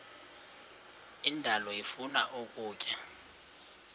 indalo ifuna ukutya